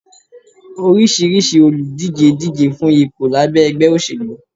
orisirisi oludije díjé fun ìpo labé ẹgbẹ́ osélú